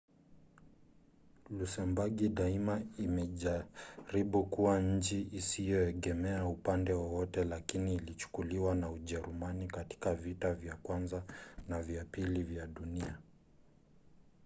lusembagi daima imejaribu kuwa nchi isiyoegemea upande wowote lakini ilichukuliwa na ujerumani katika vita vya kwanza na vya pili vya dunia